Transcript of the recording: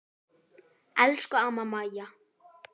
Elsku amma Maja.